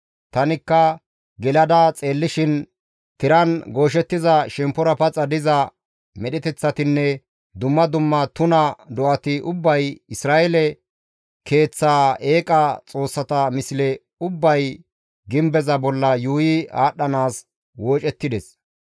Tanikka gelada xeellishin tiran gooshettiza shemppora paxa diza medheteththatinne dumma dumma tuna do7ati ubbay, Isra7eele keeththaa eeqa xoossata misle ubbay gimbeza bolla yuuyi aadhdhanaas woocettides.